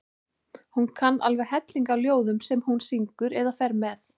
Hún kann alveg helling af ljóðum sem hún syngur eða fer með.